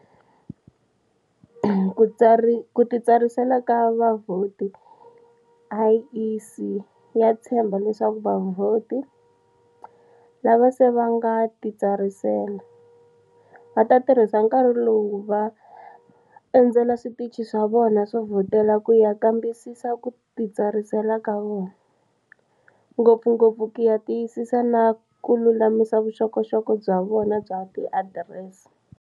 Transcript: Ku titsarisela ka vavhoti IEC ya tshemba leswaku vavhoti, lava se va nga titsarisela, va ta tirhisa nkarhi lowu ku va va endzela switichi swa vona swo vhotela ku ya kambisisa ku titsarisela ka vona, ngopfungopfu ku ya tiyisisa na ku lulamisa vuxokoxoko bya vona bya tiadirese.